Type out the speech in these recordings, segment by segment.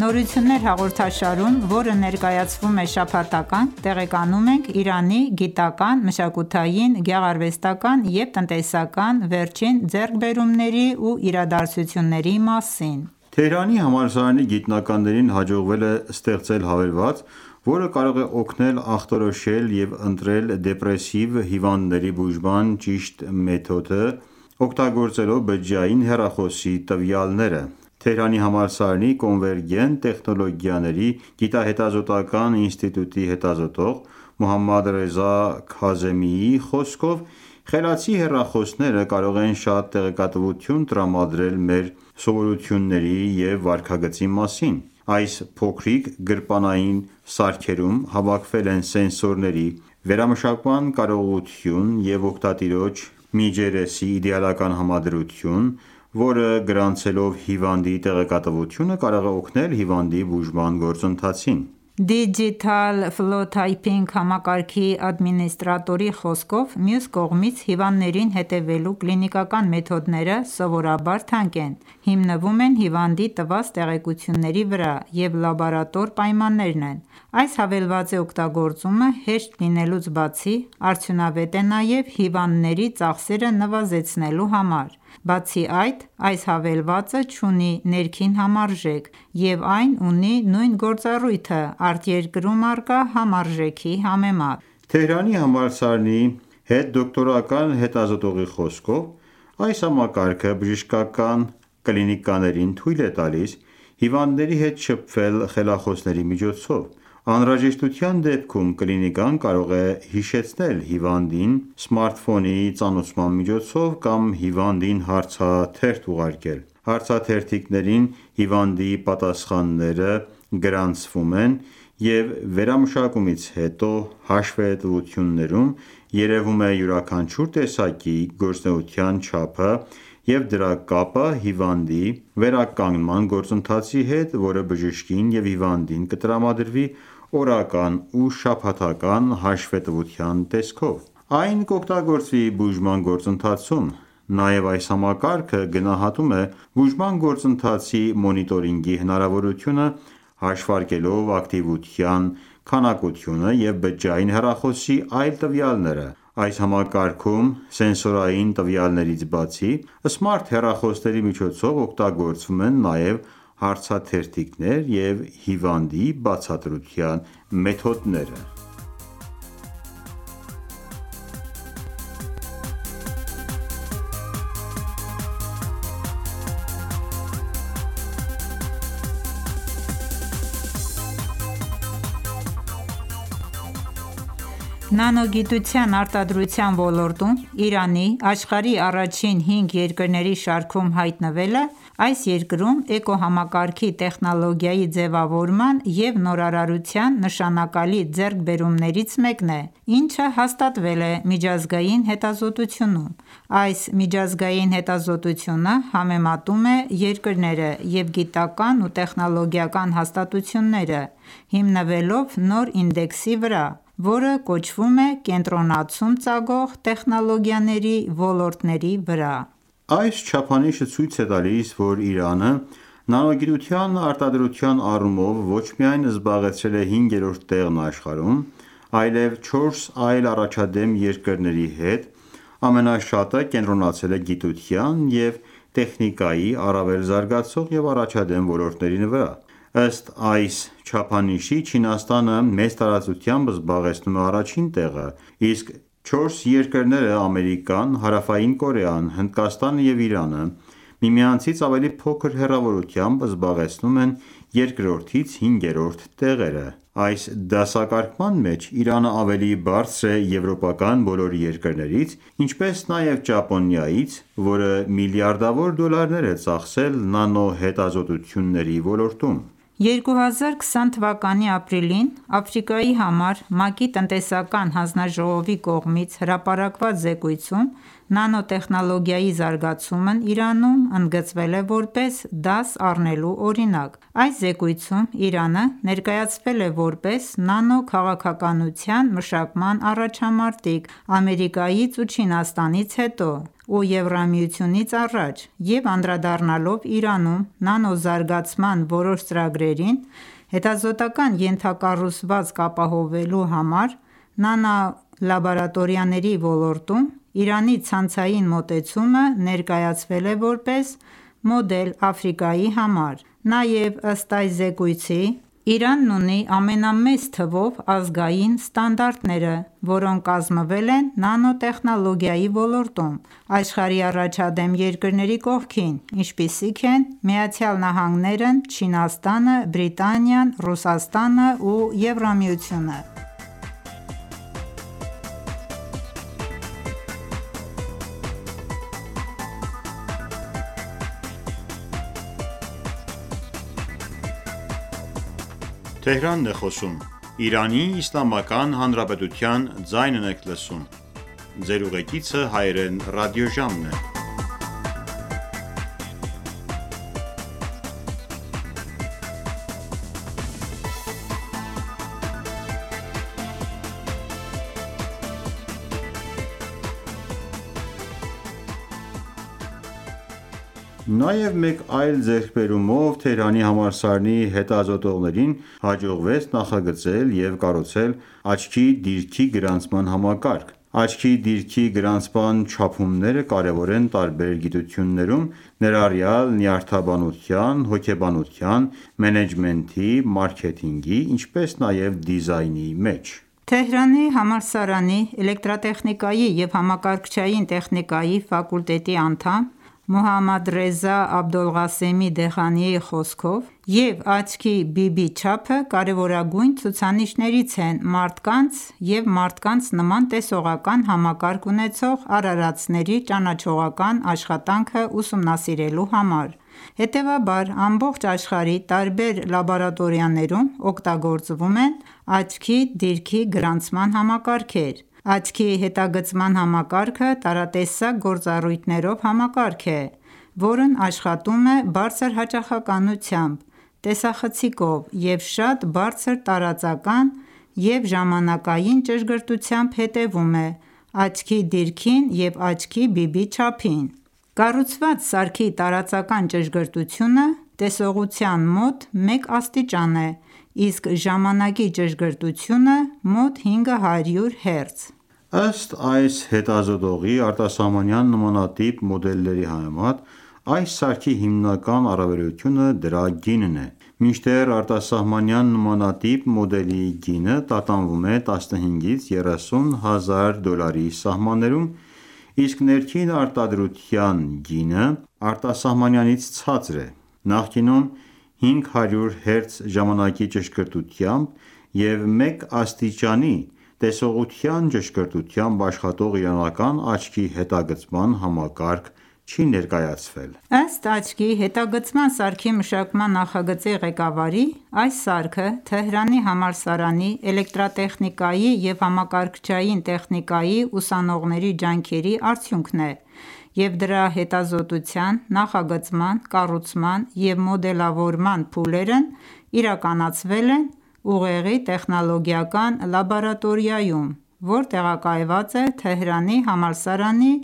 «Նորություններ» հաղորդաշարում, որը ներկայացվում է շաբաթական, տեղեկանում ենք Իրանի գիտական, մշակութային, գեղարվեստական և տնտեսական վերջին ձեռքբերումների ու իրադարձությունների մասին։ Թեհրանի համալսարանի գիտնականներին հաջողվել է ստեղծել հավելված, որը կարող է օգնել ախտորոշել և ընտրել դեպրեսիվ հիվանդների բուժման ճիշտ ընթացքը՝ օգտագործելով բջջային հեռախոսի տվյալները։ Թեհրանի համալսարանի Կոնվերգենտ տեխնոլոգիաների գիտահետազոտական ​​ինստիտուտի հետազոտող Մոհամմադ Ռեզա Քազեմիի խոսքով, խելացի հեռախոսները կարող են շատ տեղեկատվություն տրամադրել մեր սովորությունների և վարքագծի մասին: Այս փոքրիկ գրպանային սարքերում հավաքվել են սենսորների, վերամշակման կարողություն և օգտատիրոջ միջերեսի իդեալական համադրություն, որը, գրանցելով հիվանդի տեղեկատվությունը, կարող է օգնել հիվանդի բուժման գործընթացին: «Digital Phenotyping» համակարգի ադմինիստրատորի խոսքով, մյուս կողմից, հիվանդներին հետևելու կլինիկական մեթոդները սովորաբար թանկ են, հիմնվում են հիվանդի տված տեղեկությունների վրա և լաբորատոր պայմաններնն են: Այս հավելվածի օգտագործումը, հեշտ լինելուց բացի, արդյունավետ է նաև հիվանդների ծախսերը նվազեցնելու համար։ Բացի այդ, այս հավելվածը չունի ներքին համարժեք, և այն ունի նույն գործառույթը արտերկրում առկա համարժեքի համեմատ: Թեհրանի համալսարանի հետդոկտորան հետազոտողի խոսքով, այս համակարգը բժշկական կլինիկաներին թույլ է տալիս հիվանդների հետ շփվել խելախոսների միջոցով։ Անհրաժեշտության դեպքում կլինիկան կարող է հիշեցնել հիվանդին սմարթֆոնի ծանուցման միջոցով կամ հիվանդին հարցաթերթ ուղարկել: Հարցաթերթիկներին հիվանդի պատասխանները գրանցվում են, և վերամշակումից հետո հաշվետվություններում երևում է յուրաքանչյուր տեսակի գործունեության չափը և դրա կապը հիվանդի վերականգնման գործընթացի հետ, որը բժշկին և հիվանդին կտրամադրվի օրական ու շաբաթական հաշվետվության տեսքով: Այն կօգտագործվի բուժման գործընթացում: Նաև այս համակարգը գնահատում է բուժման գործընթացի մոնիտորինգի հնարավորությունը՝ հաշվարկելով ակտիվության քանակությունը և բջջային հեռախոսի այլ տվյալները: Այս համակարգում, սենսորային տվյալներից բացի, սմարթ հեռախոսների միջոցով օգտագործվում են նաև հարցաթերթիկներ և հիվանդի բացատրության մեթոդներ։ Հավելվածի նախագծում, որը կարող է օգնել ախտորոշել և ընտրել դեպրեսիվ հիվանդների բուժման ճիշտ գործընթացը՝ օգտագործելով բջջային հեռախոսի տվյալները Նանոգիտության արտադրության ոլորտում Իրանի՝ աշխարհի առաջին 5 երկրների շարքում հայտնվելը այս երկրում էկոհամակարգի տեխնոլոգիայի ձևավորման և նորարարության նշանակալի ձեռքբերումներից մեկն է, ինչը հաստատվել է միջազգային հետազոտությունում։ Այս միջազգային հետազոտությունը համեմատում է երկրները և գիտական ​​և տեխնոլոգիական հաստատությունները՝ հիմնվելով նոր ինդեքսի վրա, որը կոչվում է «Կենտրոնացում ծագող տեխնոլոգիաների ոլորտների վրա»: Այս չափանիշը ցույց է տալիս, որ Իրանը նանոգիտության արտադրության առումով ոչ միայն զբաղեցրել է հինգերորդ տեղն աշխարհում, այլև չորս այլ առաջադեմ երկրների հետ ամենաշատը կենտրոնացել է գիտության և տեխնիկայի առավել զարգացող և առաջադեմ ոլորտների վրա։ Ըստ այս չափանիշի՝ Չինաստանը մեծ տարածությամբ զբաղեցնում է առաջին տեղը, իսկ չորս երկրները՝ Ամերիկան, Հարավային Կորեան, Հնդկաստանը և Իրանը, միմյանցից ավելի փոքր հեռավորությամբ զբաղեցնում են երկրորդից հինգերորդ տեղերը։ Այս դասակարգման մեջ Իրանը ավելի բարձր է եվրոպական բոլոր երկրներից, ինչպես նաև Ճապոնիայից, որ միլիարդավոր դոլարներ է ծախսել նանո հետազոտությունների ոլորտում: 2020 թվականի ապրիլին Աֆրիկայի համար ՄԱԿ-ի տնտեսական հանձնաժողովի կողմից հրապարակված զեկույցում Նանոտեխնոլոգիայի զարգացումն Իրանում ընդգծվել է որպես դաս առնելու օրինակ։ Այս զեկույցում Իրանը ներկայացվել է որպես նանո քաղաքականության մշակման առաջամարտիկ՝ Ամերիկայից ու Չինաստանից հետո և ԵՄ-ից առաջ, և անդրադառնալով Իրանում նանո զարգացման որոշ ծրագրերին՝ հետազոտական ​​ենթակառուցվածք ապահովելու համար նանո լաբորատորիաների ոլորտում Իրանի ցանցային մոտեցումը ներկայացվել է որպես մոդել Աֆրիկայի համար: Նաև, ըստ այս զեկույցի, Իրանն ունի ամենամեծ թվով ազգային ստանդարտները, որոնք կազմվել են նանոտեխնոլոգիայի ոլորտում՝ աշխարհի առաջադեմ երկրների կողքին, ինչպիսիք են ԱՄՆ-ն, Չինաստանը, Բրիտանիան, Ռուսաստանը և ԵՄ-ը: Նանո ոլորտում Իրանն աշխարհում հինգերորդ տեղն է զբաղեցրել՝ Չինաստանից, Ամերիկայից, Հարավային Կորեայից և Հնդկաստանից հետո Նաև մեկ այլ ձեռքբերումով Թեհրանի համալսարանի հետազոտողներին հաջողվեց նախագծել և կառուցել աչքի դիրքի գրանցման համակարգ: Աչքի դիրքի գրանցման չափումները կարևոր են տարբեր գիտություններում՝ ներառյալ նյարդաբանության, հոգեբանության, մենեջմենթի, մարքեթինգի, ինչպես նաև դիզայնի մեջ: Թեհրանի համալսարանի Էլեկտրատեխնիկայի և համակարգչային տեխնիկայի ֆակուլտետի անդամ Մոհամմադռեզա Աբոլղասեմի Դեհաղանիի խոսքով, աչքի դիրքը և աչքի բիբի չափը կարևորագույն ցուցանիշներից են մարդկանց և մարդկանց նման տեսողական համակարգ ունեցող արարածների ճանաչողական աշխատանքը ուսումնասիրելու համար: Հետևաբար ամբողջ աշխարհի տարբեր լաբորատորիաներում օգտագործվում են աչքի դիրքի գրանցման համակարգեր։ Աչքի հետագծման համակարգը տարատեսակ գործառույթներով համակարգ է, որն աշխատում է բարձր հաճախականությամբ տեսախցիկով և շատ բարձր տարածական և ժամանակային ճշգրտությամբ հետևում է աչքի դիրքին և աչքի բիբի չափին: Կառուցված սարքի տարածական ճշգրտությունը տեսողության մոտ մեկ աստիճան է, իսկ ժամանակի ճշգրտությունը՝ մոտ 500 Հց։ Ըստ այս հետազոտողի՝ արտասահմանյան նմանատիպ մոդելների համեմատ այս սարքի հիմնական առավելությունը դրա գինն է։ Մինչդեռ արտասահմանյան նմանատիպ մոդելի գինը տատանվում է 15-30 հազար դոլարի սահմաններում, իսկ ներքին արտադրության գինը արտասահմանյանից ցածր է։ Նախկինում 500 Հց ժամանակի ճշգրտությամբ և մեկ աստիճանի տեսողության ճշգրտությամբ աշխատող իրանական աչքի հետագծման համակարգը չի ներկայացվել։ Ըստ աչքի հետագծման սարքի մշակման նախագծի ղեկավարի՝ այս սարքը Թեհրանի համալսարանի էլեկտրատեխնիկայի և համակարգչային տեխնիկայի ուսանողների ջանքերի արդյունքն է, և դրա հետազոտության, նախագծման, կառուցման և մոդելավորման փուլերն իրականացվել են ուղեղի տեխնոլոգիական լաբորատորիայում, որ տեղակայված է Թեհրանի համալսարանի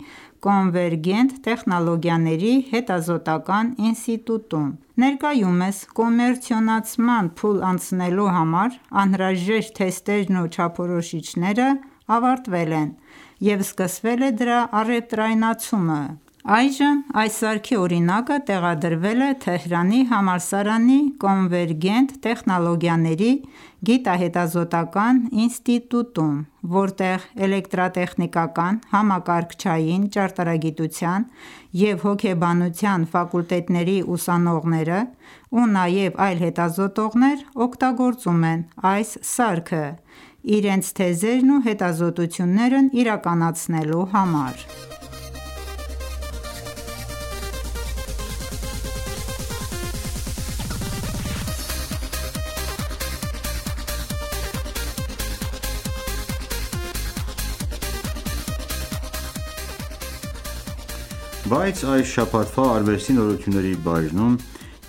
Կոնվերգենտ տեխնոլոգիաների հետազոտական ​​ինստիտուտում: Ներկայումս կոմերցիոնացման փուլ անցնելու համար անհրաժեշտ թեստերն ու չափորոշիչները ավարտվել են, և սկսվել է դրա առևտրայնացումը։ Այժմ այս սարքի օրինակը տեղադրվել է Թեհրանի համալսարանի Կոնվերգենտ տեխնոլոգիաների գիտահետազոտական ​​ինստիտուտում, որտեղ էլեկտրատեխնիկական, համակարգչային ճարտարագիտության և հոգեբանության ֆակուլտետների ուսանողները ու նաև այլ հետազոտողներ օգտագործում են այս սարքը՝ իրենց թեզերն ու հետազոտություններն իրականացնելու համար: Թեհրանի համալսարանի հետազոտողների կողմից աչքի դիրքի գրանցման համակարգի նախագծում և կառուցում Բայց այս շաբաթվա արվեստի նորությունների բաժնում,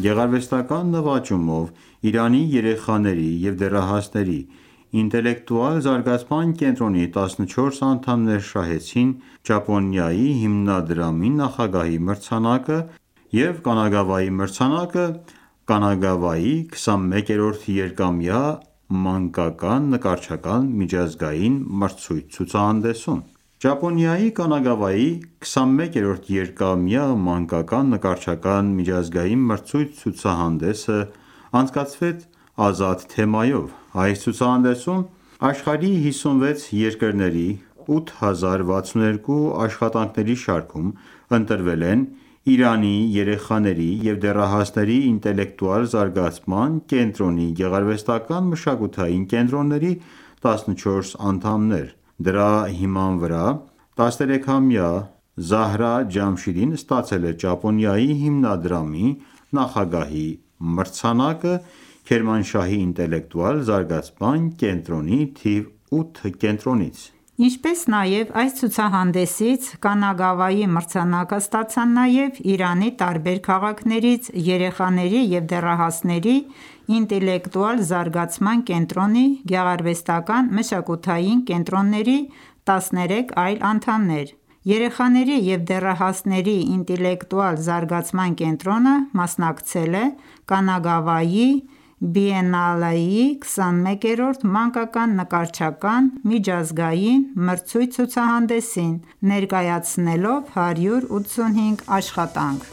գեղարվեստական ​​նվաճումով, Իրանի երեխաների և դեռահասների ինտելեկտուալ զարգացման կենտրոնի տասնչորս անդամներ շահեցին Ճապոնիայի հիմնադրամի նախագահի մրցանակը և Կանագավայի մրցանակը Կանագավայի 21-րդ երկամյա մանկական նկարչական միջազգային մրցույթ-ցուցահանդեսում: Ճապոնիայի Կանագավայի 21-րդ երկամյա մանկական նկարչական միջազգային մրցույթ-ցուցահանդեսն անցկացվեց «ազատ» թեմայով: Այս ցուցահանդեսում աշխարհի 56 երկրների 8062 աշխատանքների շարքում ընտրվել են Իրանի Երեխաների և դեռահասների ինտելեկտուալ զարգացման կենտրոնի գեղարվեստական ​​մշակութային կենտրոնների 14 անդամներ։ Դրա հիման վրա 13-ամյա Զահրա Ջամշիդին ստացել է Ճապոնիայի հիմնադրամի նախագահի մրցանակը Քերմանշահի ինտելեկտուալ զարգացման կենտրոնի թիվ 8 կենտրոնից։ Ինչպես նաև, այս ցուցահանդեսից Կանագավայի մրցանակը ստացան նաև Իրանի տարբեր քաղաքներից երեխաների և դեռահասների ինտելեկտուալ զարգացման կենտրոնի գեղարվեստական ​​մշակութային կենտրոնների 13 այլ անդամներ։ Երեխաների և դեռահասների ինտելեկտուալ զարգացման կենտրոնը մասնակցել է Կանագավայի բիենալեի 21-րդ մանկական նկարչական միջազգային մրցույթ-ցուցահանդեսին` ներկայացնելով 185 աշխատանք: